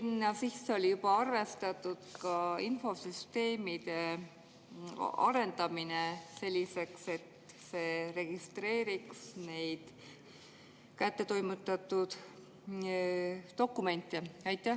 Kas sinna sisse oli juba arvestatud ka infosüsteemide arendamine selliseks, et see registreeriks neid kättetoimetatud dokumente?